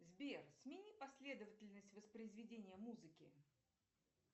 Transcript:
сбер смени последовательность воспроизведения музыки